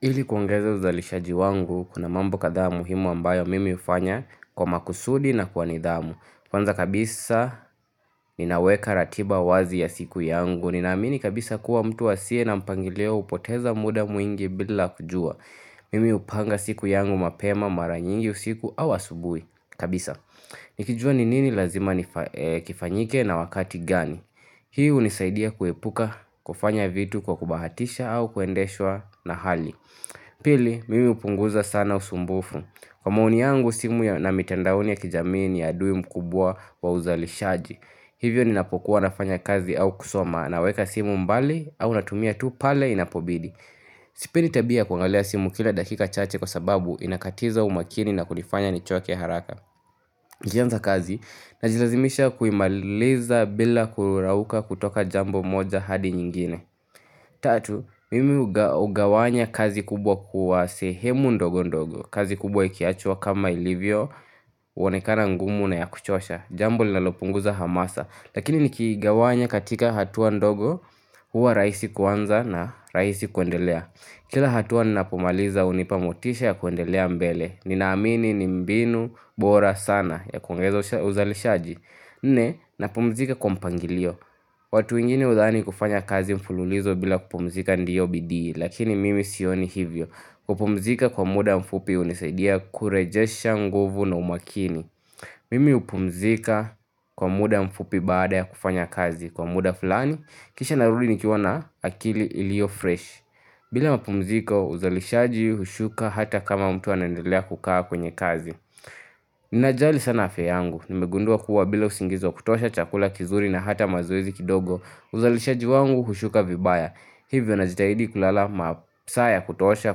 Ili kuongeza uzalishaji wangu, kuna mambo kadhaa muhimu ambayo mimi hufanya kwa makusudi na kwa nidhamu. Kwanza kabisa ninaweka ratiba wazi ya siku yangu. Ninaamini kabisa kuwa mtu asie na mpangilio hupoteza muda mwingi bila kujua. Mimi hupanga siku yangu mapema mara nyingi usiku au asubuhi kabisa. Nikijua ni nini lazima kifanyike na wakati gani. Hii hunisaidia kuepuka kufanya vitu kwa kubahatisha au kuendeshwa na hali. Pili, mimi hupunguza sana usumbufu. Kwa maoni yangu, simu na mitandaoni ya kijamii ni adui mkubwa wa uzalishaji. Hivyo ninapokuwa nafanya kazi au kusoma naweka simu mbali au natumia tu pale inapobidi. Sipendi tabia ya kuangalia simu kila dakika chache kwa sababu inakatiza umakini na kunifanya nichoke haraka. Nianze kazi, najilazimisha kuimaliza bila kurauka kutoka jambo moja hadi nyingine. Tatu, mimi hugawanya kazi kubwa kuwa sehemu ndogo ndogo. Kazi kubwa ikiachwa kama ilivyo, huonekana ngumu na ya kuchosha jambo linalopunguza hamasa. Lakini nikigawanya katika hatua ndogo huwa rahisi kuanza na rahisi kuendelea. Kila hatua ninapomaliza hunipa motisha ya kuendelea mbele. Ninaamini ni mbinu bora sana ya kuongeza uzalishaji Nne, napumzika kwa mpangilio watu wengini hudhani kufanya kazi mfululizo bila kupumzika ndio bidii lakini mimi sioni hivyo. Kupumzika kwa muda mfupi hunisaidia kurejesha nguvu na umakini Mimi hupumzika kwa muda mfupi baada ya kufanya kazi kwa muda fulani kisha narudi nikiwa na akili iliyo fresh bila mapumziko uzalishaji hushuka hata kama mtu anaendelea kukaa kwenye kazi Ninajali sana afya yangu. Nimegundua kuwa bila usingizi wa kutosha chakula kizuri na hata mazoezi kidogo uzalishaji wangu hushuka vibaya. Hivyo najitahidi kulala masaa ya kutosha,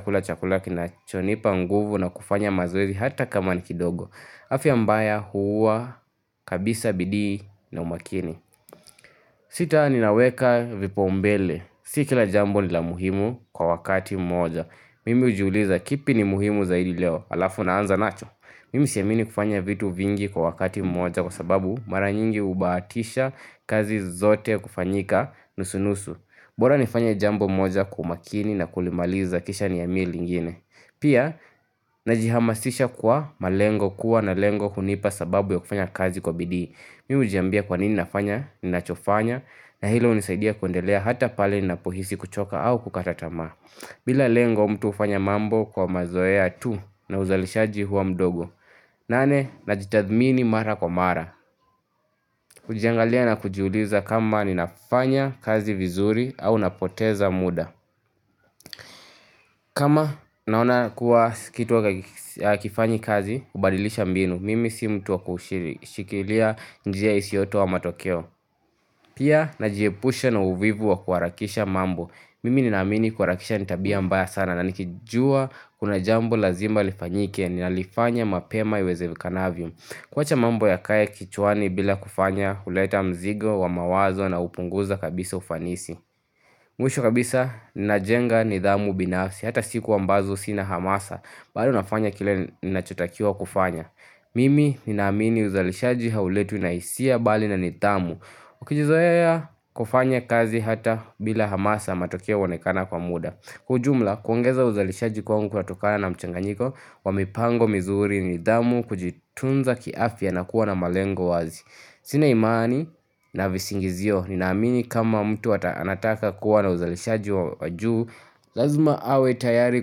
kula chakula kinachonipa nguvu na kufanya mazoezi hata kama ni kidogo afya mbaya huua kabisa bidii na umakini Sita ninaweka vipaumbele. Si kila jambo ni la muhimu kwa wakati mmoja. Mimi hujiuliza kipi ni muhimu zaidi leo halafu naanza nacho. Mimi siamini kufanya vitu vingi kwa wakati mmoja kwa sababu mara nyingi hubahatisha kazi zote kufanyika nusu-nusu bora nifanye jambo moja kwa umakini na kulimaliza kisha nihamie lingine Pia, najihamasisha kwa malengo. Kuwa na lengo hunipa sababu ya kufanya kazi kwa bidii. Mimi hujiambia kwa nini nafanya ninachofanya na hilo hunisaidia kuendelea hata pale napohisi kuchoka au kukata tamaa bila lengo mtu hufanya mambo kwa mazoea tu na uzalishaji huwa mdogo nane, najitathmini mara kwa mara. Kujiangalia na kujiuliza kama ninafanya kazi vizuri au napoteza muda. Kama naona kuwa kitu hakakifanyi kazi, hubalilisha mbinu. Mimi si mtu wa kushikilia njia isiyotoa matokeo. Pia, najiepusha na uvivu wa kuharakisha mambo. Mimi ninaamini kuharakisha ni tabia mbaya sana na nikijua kuna jambo lazima lifanyike ninalifanya mapema iwezekanavyo. Kuwacha mambo yakae kichwani bila kufanya huleta mzigo wa mawazo na hupunguza kabisa ufanisi. Mwisho kabisa ninajenga nidhamu binafsi hata siku ambazo sina hamasa bado nafanya kile ninachotakiwa kufanya Mimi ninaamini uzalishaji hauletwi na hisia bali na nidhamu. Ukijizoea kufanya kazi hata bila hamasa matokeo huonekana kwa muda. Kwa ujumla kuongeza uzalishaji kwangu kunatokana na mchanganyiko wa mipango mizuri, nidhamu, kujitunza kiafya na kuwa na malengo wazi. Sina imani na visingizio ninaamini kama mtu anataka kuwa na uzalishaji wa juu, lazima awe tayari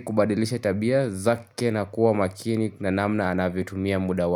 kubadilisha tabia zake na kuwa makini na namna anavyotumia muda wa.